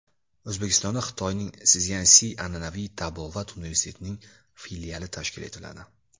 O‘zbekistonda Xitoyning Szyansi an’anaviy tabobat universitetining filiali tashkil etiladi.